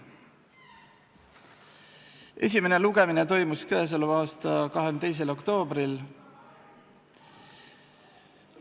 Esimene lugemine toimus k.a 22. oktoobril.